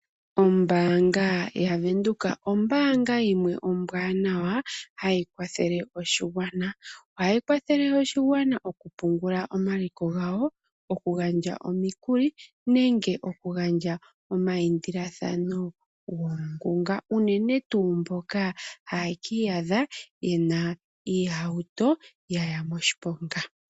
Ombaanga ya Venduka ombaanga yimwe ombwaanawa hayi kwathele oshigwana. Ohayi kwathele oshigwana okupungula omaliko gawo, okugandja omikuli nenge okugandja omaindilathano goongunga, unene tuu kumboka haye ki iyadha yena iihauto ya ya moshiponga.